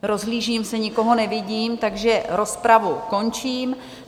Rozhlížím se, nikoho nevidím, takže rozpravu končím.